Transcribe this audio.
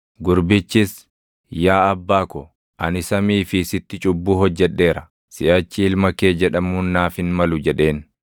“Gurbichis, ‘Yaa abbaa ko, ani samii fi sitti cubbuu hojjedheera; siʼachi ilma kee jedhamuun naaf hin malu’ jedheen.